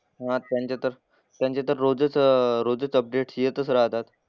हां त्यांचे तर त्यांचे तर रोजच अह रोजच अपडेट्स येतच राहतात.